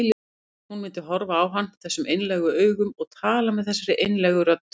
Hún myndi horfa á hann þessum einlægu augum og tala með þessari einlægu rödd.